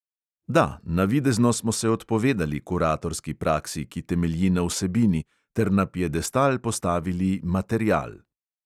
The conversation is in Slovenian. Da, navidezno smo se odpovedali kuratorski praksi, ki temelji na vsebini, ter na piedestal postavili material.